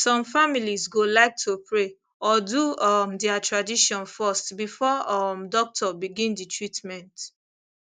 some families go like to pray or do um their tradition first before um doctor begin the treatment